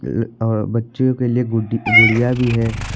और बच्चों के लिए गुड़ी गुड़िया भी है।